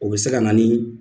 O bɛ se ka na ni